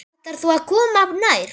Ætlarðu ekki að koma nær?